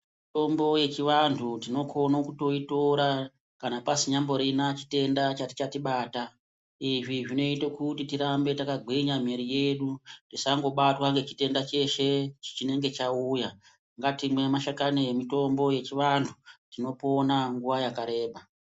Mitombo yechivantu tinokone kutoitora kana pasinyamborina chitenda chachitachibata izvi zvinoite kuti tirambe takagwinya mwiri yedu tisangobatwa ngechitenda cheshe chinenge chauya ngatimwe mashakani emitombo yechivantu tinopona nguwa yakareba.